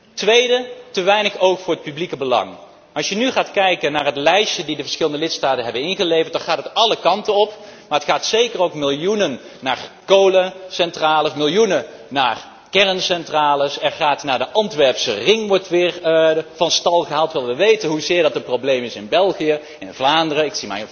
Ten tweede te weinig oog voor het publieke belang. Als je nu gaat kijken naar het lijstje dat de verschillende lidstaten hebben ingeleverd, dan gaat het alle kanten op, maar er gaan zeker ook miljoenen naar kolencentrales, miljoenen naar kerncentrales. De Antwerpse ring wordt weer van stal gehaald, terwijl wij weten hoezeer dat een probleem is in België, in Vlaanderen.